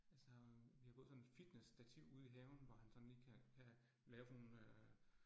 Altså vi har fået sådan et fitnessstativ ude i haven, hvor han sådan lige kan kan lave sådan nogle øh